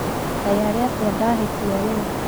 Kaĩ arĩ atĩa ndahĩtia rĩu